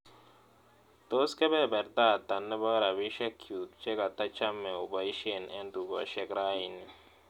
Tos' kebeberta ata ne po rabisyekyuk che katachame oboisyen en tukosiek raini